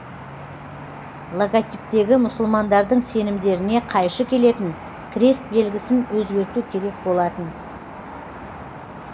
логотиптегі мұсылмандардың сенімдеріне қайшы келетін крест белгісін өзгерту керек болатын